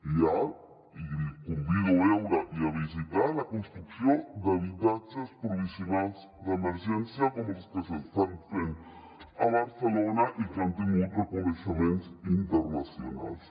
i el convido a veure i a visitar la construcció d’habitatges provisionals d’emergència com els que s’estan fent a barcelona i que han tingut reconeixements internacionals